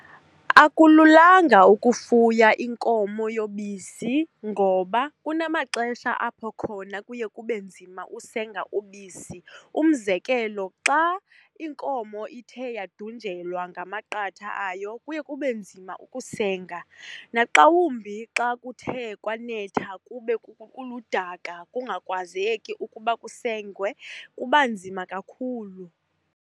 Akululanga ukufuya inkomo yobisi ngoba kunamaxesha apho khona kuye kube nzima usenga ubisi. Umzekelo, xa inkomo ithe yadunjelwa ngamaqatha ayo kuye kube nzima ukusenga, naxa wumbi xa kuthe kwanetha, kube kuludaka kungakwazeki ukuba kusengwe, kuba nzima kakhulu.